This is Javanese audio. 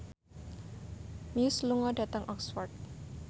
Muse lunga dhateng Oxford